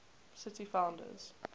city founders